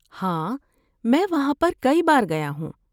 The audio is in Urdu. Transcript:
ہاں، میں وہاں پر کئی بار گیا ہوں۔